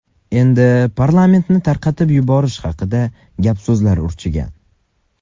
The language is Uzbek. Endi parlamentni tarqatib yuborish haqida gap-so‘zlar urchigan.